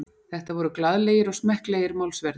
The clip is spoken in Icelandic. Þetta voru glaðlegir og smekklegir málsverðir